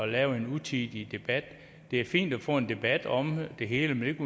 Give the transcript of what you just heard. lave en utidig debat det er fint at få en debat om det hele men